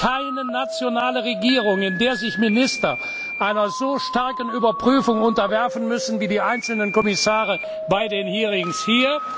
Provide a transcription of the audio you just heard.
Es gibt keine nationale Regierung, in der sich Minister einer so starken Überprüfung unterwerfen müssen wie die einzelnen Kommissare bei den Hearings hier.